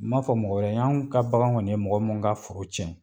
N man fɔ mɔgɔ wɛrɛ anw ka bagan kɔni ye mɔgɔ min ka foro cɛn.